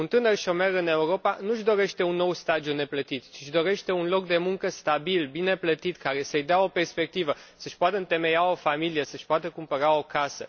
Un tânăr șomer în Europa nu își dorește un nou stagiu neplătit, ci își dorește un loc de muncă stabil, bine plătit, care să îi dea o perspectivă, să își poată întemeia o familie, să își poată cumpăra o casă.